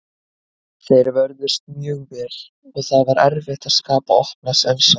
Þeir vörðust mjög vel og það var erfitt að skapa opna sénsa.